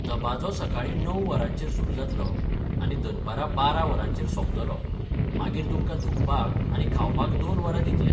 दबाजो सकाळीं णव वरांचेर सुरू जातलो आनी दनपारां बारा वरांचेर सोंपतलो, मागीर तुमकां धुवपाक आनी खावपाक दोन वरां दितले.